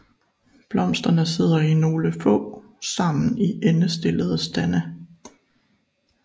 Blomsterne sidder nogle få sammen i endestillede stande